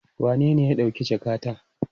Wanene ya ɗauki jakata?